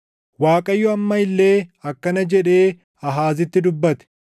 Waaqayyo amma illee akkana jedhee Aahaazitti dubbate;